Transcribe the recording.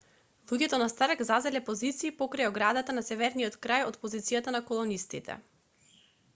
луѓето на старк зазеле позиции покрај оградата на северниот крај од позицијата на колонистите